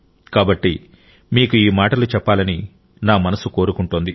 కాబట్టి మీకు ఈ మాటలు చెప్పాలని నా మనసు కొరుకుంటోంది